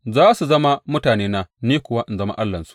Za su zama mutanena, ni kuwa in zama Allahnsu.